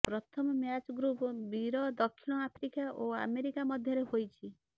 ପ୍ରଥମ match group ବିର ଦକ୍ଷିଣ ଆଫ୍ରିକା ଓ ଆମେରିକା ମଧ୍ୟରେ ହେଇଛି